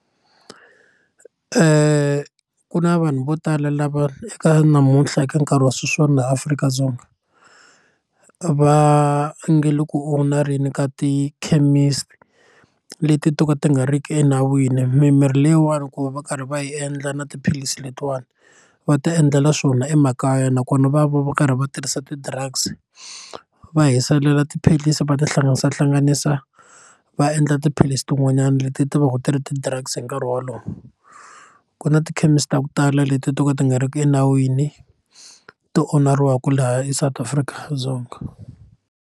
Ku na vanhu vo tala lava eka namuntlha eka nkarhi wa sweswiwani laha Afrika-Dzonga va nge le ku onareni ka tikhemisi leti to ka ti nga ri ki enawini mimirhi leyiwani ku va va karhi va hi endla na tiphilisi letiwani va ti endlela swona emakaya nakona va va va karhi va tirhisa ti drugs va hiselela tiphilisi va ti hlanganisahlanganisa va endla tiphilisi tin'wanyani leti ti va ti ri ti drugs hi nkarhi wolowo ku na tikhemisi ta ku tala leti to ka ti nga ri ki enawini ti onariwaka laha eSouth Africa Dzonga.